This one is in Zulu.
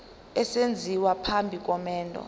esenziwa phambi komendo